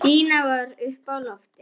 Stína var uppi á lofti.